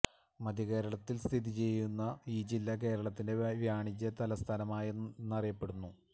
മദ്ധ്യകേരളത്തിൽ സ്ഥിതി ചെയ്യുന്ന ഈ ജില്ല കേരളത്തിന്റെ വാണിജ്യ തലസ്ഥാനം എന്നറിയപ്പെടുന്നു